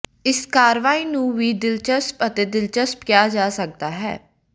ਇਸ ਕਾਰਵਾਈ ਨੂੰ ਵੀ ਦਿਲਚਸਪ ਅਤੇ ਦਿਲਚਸਪ ਕਿਹਾ ਜਾ ਸਕਦਾ ਹੈ